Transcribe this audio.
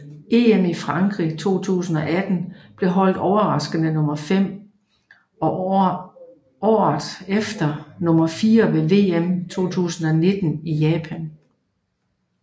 EM i Frankrig 2018 blev holdet overraskende nummer 5 og årete efter nummer 4 ved VM 2019 i Japan